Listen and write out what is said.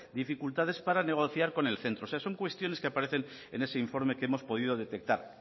dificultades para negociar con el centro o sea son cuestiones que aparecen en ese informe que hemos podido detectar